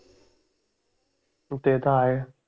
ते तर आहे.